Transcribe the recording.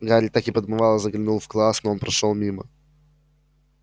гарри так и подмывало заглянуть в класс но он прошёл мимо